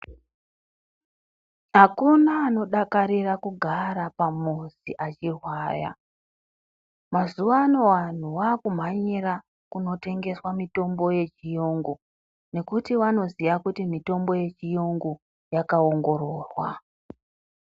Akuna anodakakarira kugara pamuzi achirwara mazuvano vanhu vakumhanyira kunotengeswa mitombo yechiyungu nekuti vanoziya kuti mitombo yechiyungu yakaongororwa .